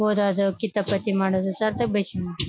ಓದದು ಕಿತಾಪತಿ ಮಾಡೋದು ಸರ್ ತಕ್ ಬೈಸ್ಕೋಣದು.